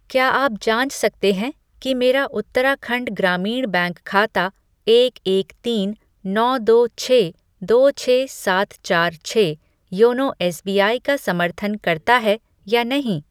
क्या आप जाँच सकते हैं कि मेरा उत्तराखंड ग्रामीण बैंक खाता एक एक तीन नौ दो छः दो छः सात चार छः योनो एसबीआई का समर्थन करता है या नहीं?